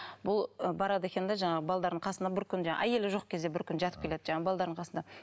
бұл барады екен де жаңағы қасына бір күнге әйелі жоқ кезде бір күн жатып келеді жаңағы қасына